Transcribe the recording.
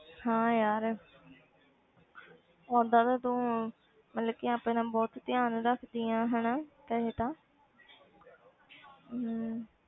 ਹਾਂ ਯਾਰ ਓਦਾਂ ਤਾਂ ਤੂੰ ਮਤਲਬ ਕਿ ਆਪਣਾ ਬਹੁਤ ਧਿਆਨ ਰੱਖਦੀ ਹੈ ਹਨਾ ਵੈਸੇ ਤਾਂ ਹਮ